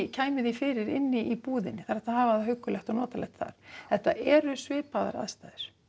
kæmu þeim fyrir inn í búðinni það er hægt að hafa það huggulegt og notalegt þar þetta eru svipaðar aðstæður